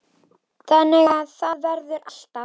Þannig að það verður alltaf.